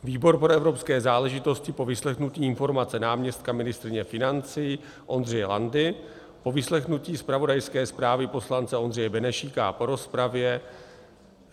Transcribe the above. "Výbor pro evropské záležitosti po vyslechnutí informace náměstka ministryně financí Ondřeje Landy, po vyslechnutí zpravodajské zprávy poslance Ondřeje Benešíka a po rozpravě